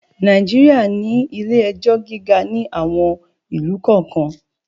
Nàìjíríà ní ilé-ẹjọ́ gíga ní àwon ìlú kọ̀ọ́kan.